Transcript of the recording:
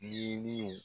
Ɲiniw